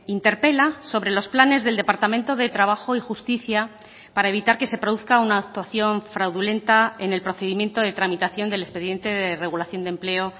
interpela sobre los planes del departamento de trabajo y justicia para evitar que se produzca una actuación fraudulenta en el procedimiento de tramitación del expediente de regulación de empleo